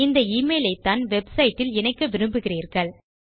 இந்த எமெயில் ஐத்தான் வெப்சைட் இல் இணைக்க விரும்புகிறீர்கள்